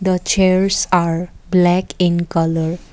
a chairs are black in colour.